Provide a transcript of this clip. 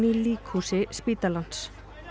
líkhúsi spítalans